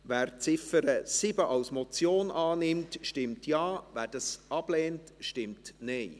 Wer die Ziffer 7 als Motion annimmt, stimmt Ja, wer dies ablehnt, stimmt Nein.